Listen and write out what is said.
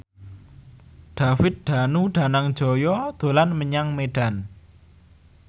David Danu Danangjaya dolan menyang Medan